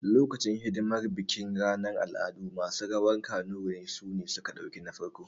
Lokacin hidimar bikin ranar al'adu, masu rawar kanuri ne suka ɗauki na farko